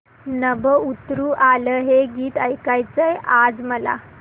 नभं उतरू आलं हे गीत ऐकायचंय आज मला